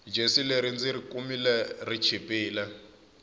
jesi leri ndziri kumile ri chipile